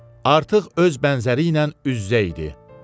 Artıq öz bənzəri ilə üz-üzə idi.